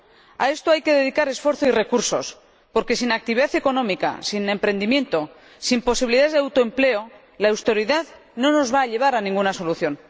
A esto hay que dedicar esfuerzo y recursos, porque sin actividad económica, sin emprendimiento, sin posibilidades de autoempleo, la austeridad no nos va a llevar a ninguna solución.